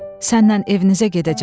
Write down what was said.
Səndən evinizə gedəcəm.